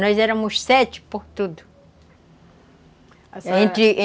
Nós éramos sete por tudo a senhora...